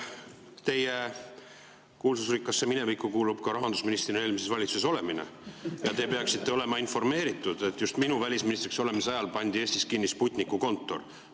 Teie kuulsusrikkasse minevikku kuulub ka rahandusministrina eelmises valitsuses olemine ja te peaksite olema informeeritud, et just minu välisministriks olemise ajal pandi Eestis kinni Sputniku kontor.